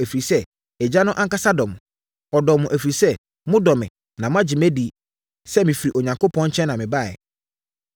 ɛfiri sɛ, Agya no ankasa dɔ mo. Ɔdɔ mo, ɛfiri sɛ, modɔ me na moagye adi sɛ mefiri Onyankopɔn nkyɛn na mebaeɛ.